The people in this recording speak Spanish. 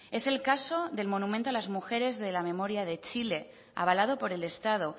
es el caso del monumento a las mujeres de la memoria de chile avalado por el estado